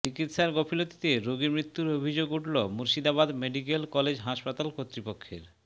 চিকিৎসার গাফিলতিতে রোগী মৃত্যুর অভিযোগ উঠল মুর্শিদাবাদ মেডিক্যাল কলেজ হাসপাতাল কর্তৃপক্ষের